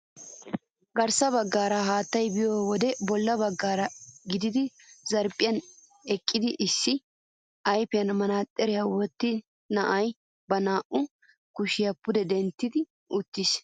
Garssa baggaara hattayi biyoo wode bolla baggaara giigida zarphphiyan eqqidi issi ayipiyan maxaaxiriyaa wottida na'ayi ba naa'u kushiyaakka pude dentti uttis.